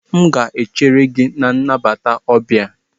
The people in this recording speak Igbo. M ga-echere gị na ebe nnabata ọbia.